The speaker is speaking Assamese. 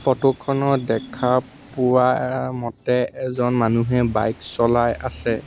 ফটো খনত দেখা পোৱা মতে এজন মানুহে বাইক চলাই আছে।